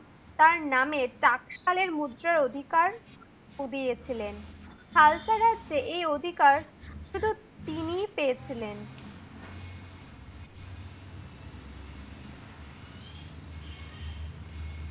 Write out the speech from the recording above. তার নামে ট্রাক্সালের মুদ্রা অধিকার উদিয়ে ছিলেন। হালতা রাজ্যে এই অধিকার শুধু তিনিই পেয়েছিলেন।